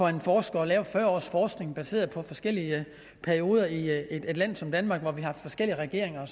en forsker at lave fyrre års forskning baseret på forskellige perioder i et land som danmark når vi har forskellige regeringer